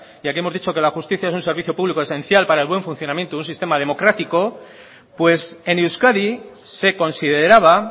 ya que hemos dicho que la justicia es un servicio público esencial para el buen funcionamiento de un sistema democrático pues en euskadi se consideraba